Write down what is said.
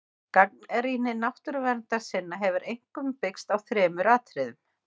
Gagnrýni náttúruverndarsinna hefur einkum byggst á þremur atriðum.